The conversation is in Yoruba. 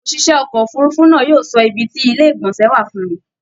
ÒṢìṣẹ́ ọkọ̀ òfurufú náà yóò sọ ibi tí ilé ìgbọ̀nsẹ wà fún mi